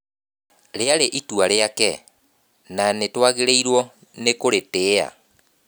Rĩrarĩ itua rĩake, na nĩ twagĩrĩirũo nĩkũrĩtĩa